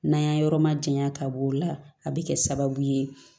N'an y'a yɔrɔ ma janya ka b'o la a bi kɛ sababu ye